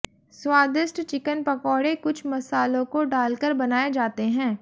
स्वादिष्ट चिकन पकौड़े कुछ मसालों को डालकर बनाए जाते हैं